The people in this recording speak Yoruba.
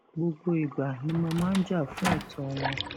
gbogbo ìgbà ni mo máa ń jà fún ẹtọ wọn